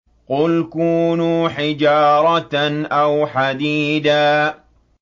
۞ قُلْ كُونُوا حِجَارَةً أَوْ حَدِيدًا